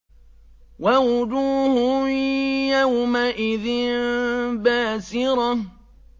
وَوُجُوهٌ يَوْمَئِذٍ بَاسِرَةٌ